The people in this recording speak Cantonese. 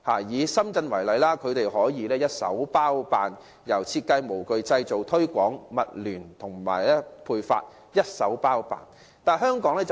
以深圳為例，當地工業由設計、模具、製造、推廣及物聯網發配均一手包辦。